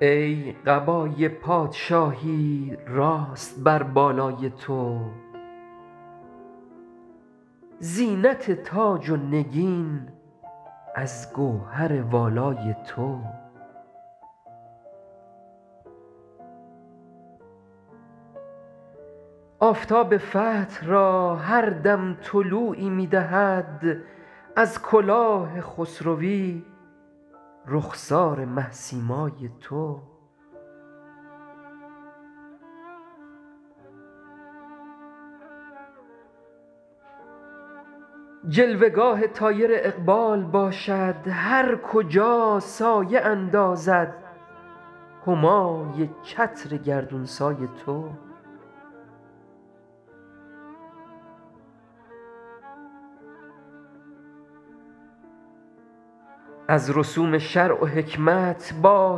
ای قبای پادشاهی راست بر بالای تو زینت تاج و نگین از گوهر والای تو آفتاب فتح را هر دم طلوعی می دهد از کلاه خسروی رخسار مه سیمای تو جلوه گاه طایر اقبال باشد هر کجا سایه اندازد همای چتر گردون سای تو از رسوم شرع و حکمت با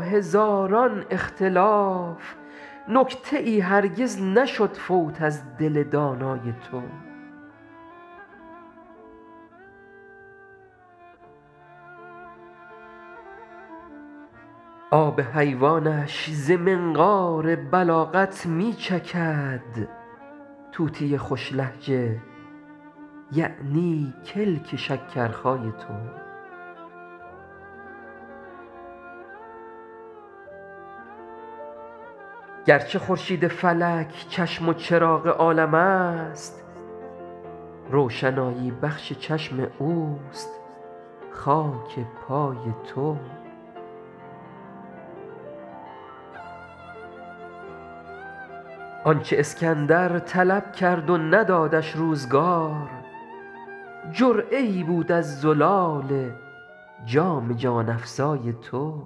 هزاران اختلاف نکته ای هرگز نشد فوت از دل دانای تو آب حیوانش ز منقار بلاغت می چکد طوطی خوش لهجه یعنی کلک شکرخای تو گرچه خورشید فلک چشم و چراغ عالم است روشنایی بخش چشم اوست خاک پای تو آن چه اسکندر طلب کرد و ندادش روزگار جرعه ای بود از زلال جام جان افزای تو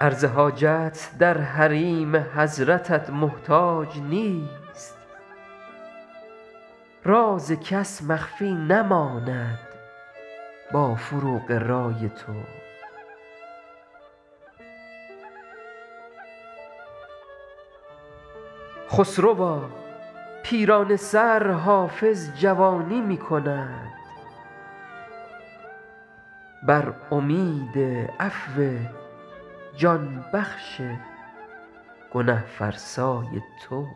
عرض حاجت در حریم حضرتت محتاج نیست راز کس مخفی نماند با فروغ رای تو خسروا پیرانه سر حافظ جوانی می کند بر امید عفو جان بخش گنه فرسای تو